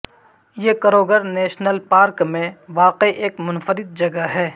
یہ Kruger National Park میں واقع ایک منفرد جگہ ہے